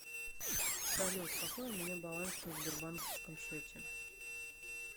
салют какой у меня баланс на сбербанковском счете